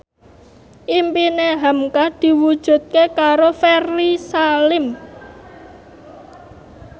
impine hamka diwujudke karo Ferry Salim